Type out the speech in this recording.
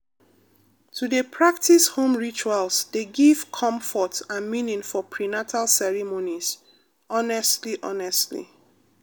to dey practice home rituals dey give comfort and meaning for prenatal ceremonies honestly honestly